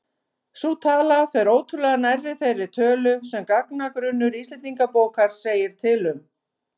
Sú tala fer ótrúlega nærri þeirri tölu sem gagnagrunnur Íslendingabókar segir til um.